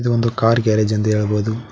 ಒಂದು car garage ಎಂದು ಹೇಳಬೊದು.